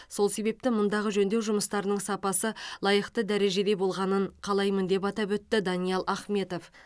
сол себепті мұндағы жөндеу жұмыстарының сапасы лайықты дәрежеде болғанын қалаймын деп атап өтті даниал ахметов